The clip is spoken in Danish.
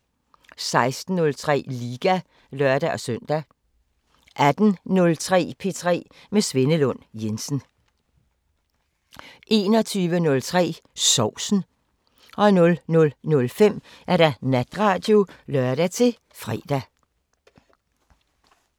16:03: Liga (lør-søn) 18:03: P3 med Svenne Lund Jensen 21:03: Sovsen 00:05: Natradio (lør-fre)